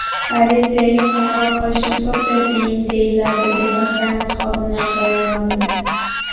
Politsiyaga qo‘ng‘iroq qilishni to‘xtating”, deyiladi departament xodimlari bayonotida.